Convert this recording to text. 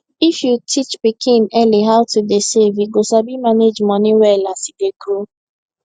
if you teach pikin early how to dey save e go sabi manage money well as e dey grow